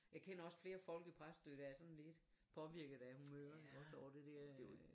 Jeg kender også flere folk i Præstø der er sådan lidt påvirket af humøret ik også over det dér øh